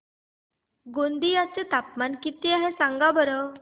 गोंदिया चे तापमान किती आहे सांगा बरं